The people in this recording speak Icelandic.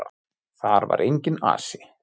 Þar var enginn asi.